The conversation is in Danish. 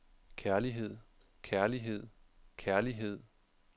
kærlighed kærlighed kærlighed